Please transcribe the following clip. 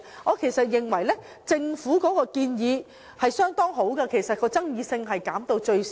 我十分認同政府的建議，有助將爭議減到最少。